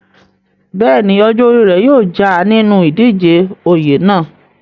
bẹ́ẹ̀ni, ọjọ́ orí rẹ̀ yóò já a nínú ìdíje oyè náà